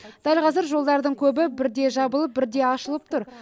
дәл қазір жолдардың көбі бірде жабылып бірде ашылып тұр